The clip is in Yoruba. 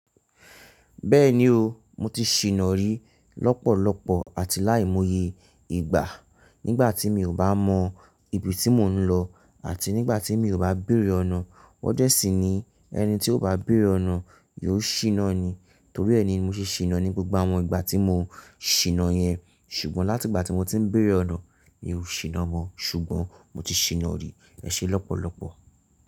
Bẹ́ẹ̀ni o, mo ti ṣìná rí lọ́pọ̀lọpọ̀ àti láìmòye ìgbà nígbàtí mi ò bá mọ ibi tí mò ń lọ àti nígbàtí mi ò bá béèrè ọ̀nà. Wọ́n dẹ́ sì ni ẹni tí ó bá béèrè ọ̀nà yóò ṣìná ni. Torí ẹ ni mo ṣe ṣìná ní gbogbo àwọn ìgbà tí mo ṣìná yẹn ṣùgbọ́n láti ìgbàtí mo ti ń béèrè ọ̀nà mi ò ṣìná mọ ṣùgbọ́n mo ti ṣìná rí ẹṣẹ lọ́pọ̀lọpọ̀.